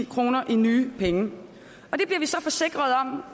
kroner i nye penge